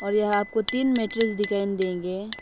यहां आपको तीन मैट्ट्रेस दिखाई देंगे --